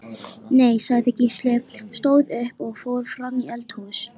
Nei, sagði Gísli, stóð upp og fór fram í eldhús.